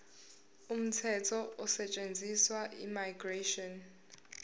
umthetho osetshenziswayo immigration